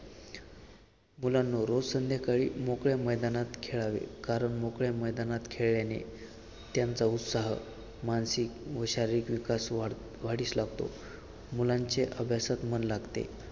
मुलांनो रोज संध्याकाळी मोकळ्या मैदानात खेळावे कारण मैदानात खेळल्याने त्यांचा उत्साह मानसिक व शारीरिक विकास वाढ वाढीस लागतो. मुलांचे अभ्यासात मन लागते.